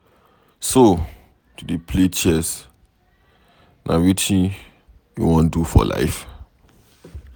So to dey play chess na wetin you wan do for life.